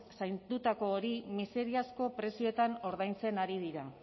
zaindutako hori miseriazko prezioetan ordaintzen ari dira